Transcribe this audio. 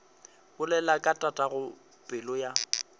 bolela ka tatago pelo ya